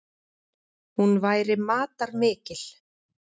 Hún væri matarmikil.